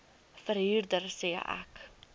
verhuurder sê ek